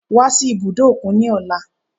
Wá sí ibùdó òkun ní ọ̀la